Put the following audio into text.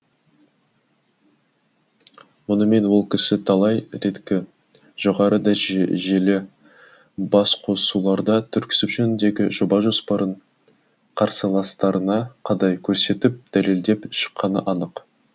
мұнымен ол кісі талай реткі жоғары жүйелі басқосуларда түрксіб жөніндегі жоба жоспарын қарсыластарына қадай көрсетіп дәлелдеп шыққаны анық